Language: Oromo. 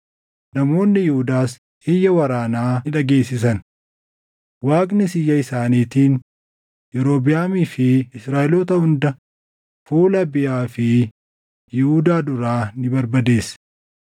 namoonni Yihuudaas iyya waraanaa ni dhageessisan. Waaqnis iyya isaaniitiin Yerobiʼaamii fi Israaʼeloota hunda fuula Abiyaa fi Yihuudaa duraa ni barbadeesse.